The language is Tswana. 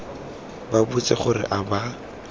ba botse gore a ba